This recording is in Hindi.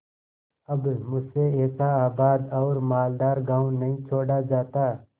अब मुझसे ऐसा आबाद और मालदार गॉँव नहीं छोड़ा जाता